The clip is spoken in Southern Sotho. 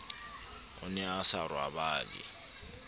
o ne a sa robale